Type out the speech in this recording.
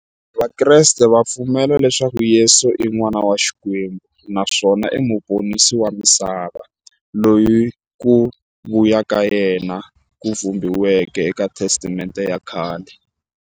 Vakreste va pfumela leswaku Yesu i n'wana wa Xikwembu naswona i muponisi wa misava, loyi ku vuya ka yena ku vhumbiweke e ka Testamente ya khale.